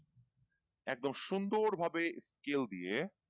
একদম সুন্দরভাবে scale দিয়ে।